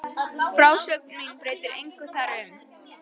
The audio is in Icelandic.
Og frásögn mín breytir engu þar um.